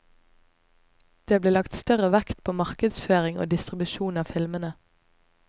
Det blir lagt større vekt på markedsføring og distribusjon av filmene.